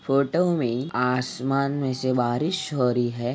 Photo में आश्मान में से बारिश हो रही है।